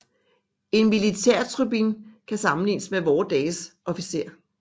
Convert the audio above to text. En militærtribun kan sammenlignes med vore dages officer